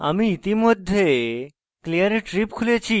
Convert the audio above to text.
আমি ইতিমধ্যে clear trip খুলেছি